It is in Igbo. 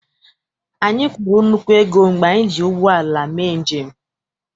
Anyị kwụrụ nnukwu ego mgbe anyị ji ụgbọala mee njem.